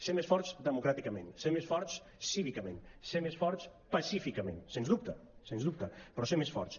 ser més forts democràticament ser més forts cívicament ser més forts pacíficament sens dubte sens dubte però ser més forts